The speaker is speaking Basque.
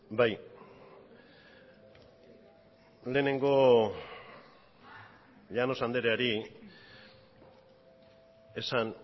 bai lehenengo llanos andreari esan